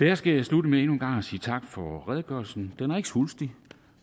jeg skal slutte med endnu en gang at sige tak for redegørelsen den er ikke svulstig